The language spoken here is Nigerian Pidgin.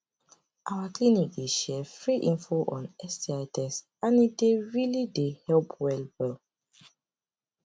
our clinic dey share free info on sti test and e dey really dey help well well